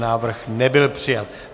Návrh nebyl přijat.